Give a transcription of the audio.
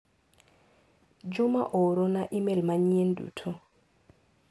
Juma oorona imel manyien duto.